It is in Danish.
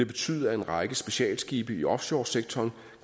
betyde at en række specialskibe i offshoresektoren